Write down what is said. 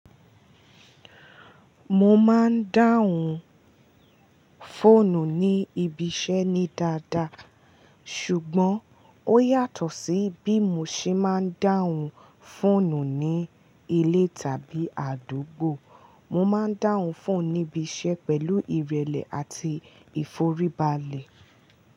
Mo máa ń dáhùn fóònù ní ibi iṣẹ́ ní dáadáa, ṣùgbọ́n ó yàtọ̀ sí bí mo ṣe máa ń dáhùn fóònù ní ilé tàbí àdúgbò. Mo máa ń dáhùn fóònù ní ibi iṣẹ́ pẹ̀lú ìrẹ̀lẹ̀ àti ìforíbalẹ̀